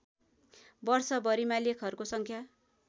वर्षभरिमा लेखहरूको सङ्ख्या